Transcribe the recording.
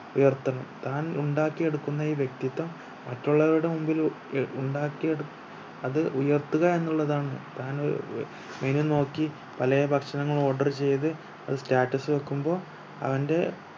ഉയർത്തണം താൻ ഉണ്ടാക്കി എടുക്കുന്ന ഈ വ്യക്തിത്വം മറ്റുള്ളവരുടെ മുമ്പില് ഏർ ഉണ്ടാക്കി എട് അത് ഉയർത്തുക എന്നുള്ളതാണ് താൻ ഏർ menu നോക്കി പലേ ഭക്ഷണങ്ങളും order ചെയ്ത് അത് status വെക്കുമ്പോ അവന്റെ